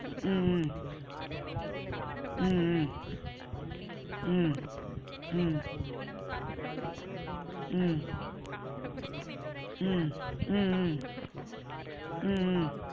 உம் உம் உம் உம் உம் உம் உம் உம் உம் உம் உம் உம்